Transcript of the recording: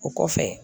O kɔfɛ